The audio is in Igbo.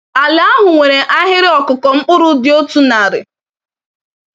Ala ahụ nwere ahịrị ọkụkụ mkpụrụ dị otu narị.